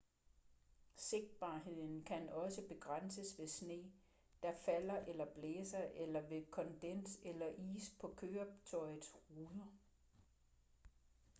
sigtbarheden kan også begrænses ved sne der falder eller blæser eller ved kondens eller is på køretøjets ruder